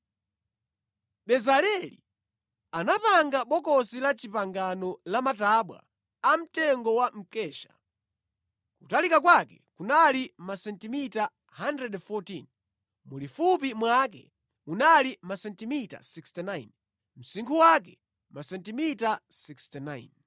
Bezaleli anapanga Bokosi la Chipangano lamatabwa amtengo wa mkesha. Kutalika kwake kunali masentimita 114, mulifupi mwake munali masentimita 69, msinkhu wake masentimita 69.